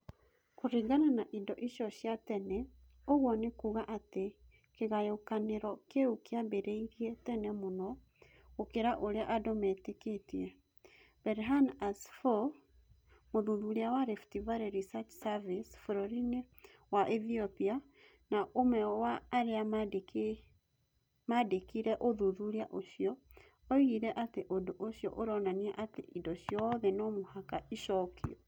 Kũringana na indo icio cia tene, ũguo nĩ kuuga atĩ kĩgayũkanĩro kĩu kĩambĩrĩirie tene mũno gũkĩra ũrĩa andũ metĩkĩtie. Berhane Asfaw, mũthuthuria wa Rift Valley Research Service bũrũri-inĩ wa Ethiopia na ũmwe wa arĩa maandĩkire ũthuthuria ũcio, oigire atĩ ũndũ ũcio ũronania atĩ indo ciothe no mũhaka icokio.